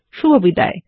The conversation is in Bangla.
শুভবিদায়